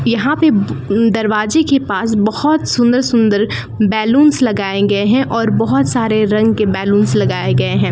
यहां पे दरवाजे के पास बहोत सुंदर सुंदर बैलूंस लगाएंगे हैं और बहोत सारे रंग के बैलूंस लगाए गए हैं।